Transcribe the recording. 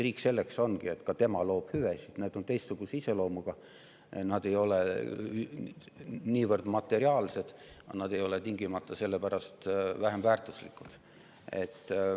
Riik selleks ongi, et ka tema loob hüvesid, need hüved on teistsuguse iseloomuga, ei ole niivõrd materiaalsed, aga need oleks tingimata selle pärast vähem väärtuslikud.